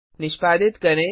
निष्पादित करें